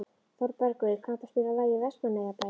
Þorbergur, kanntu að spila lagið „Vestmannaeyjabær“?